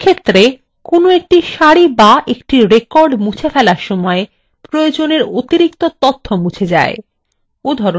এক্ষেত্রে কোনো একটি সারি বা একটি record মুছে ফেলার সময় প্রয়োজনের অতিরিক্ত তথ্য মুছে যায়